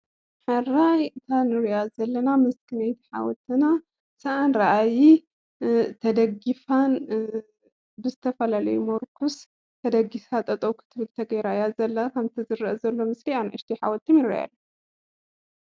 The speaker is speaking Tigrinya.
ሓወልቲ ኣኽሱም ተደጊፋ ይረኣ።